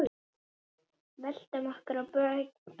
Veltum okkur á bökin.